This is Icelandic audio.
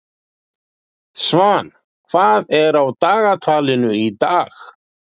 Svan, hvað er á dagatalinu í dag?